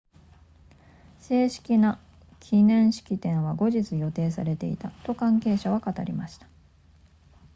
正式な記念式典は後日予定されていたと関係者は語りました